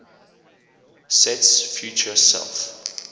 sets feature self